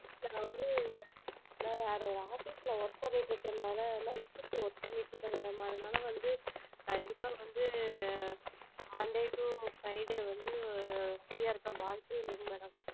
நான் வந்து நான் வேற office ல work பண்ணிட்டு இருக்கிரனால night shift work பண்ணிட்டு இருக்கேன் madam அதனால வந்து கண்டிப்பா வந்து monday to friday வந்து free யா இருக்க வாய்ப்பே இல்லைங் madam.